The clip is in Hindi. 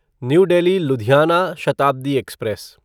new Delhi Ludhiana Shatabdi express